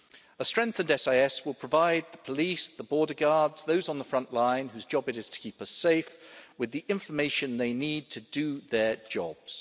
A strengthened SIS will provide the police, the border guards, those on the front line whose job it is to keep us safe, with the information they need to do their jobs.